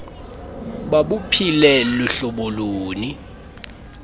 babuphile luhlobo luni